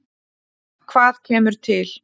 Hvað kemur til?